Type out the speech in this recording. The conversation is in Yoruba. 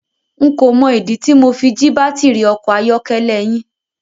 N kò mọ ìdí tí Mo fi jí baátìrì ọkọ̀ ayọ́kẹ́lẹ́ yín.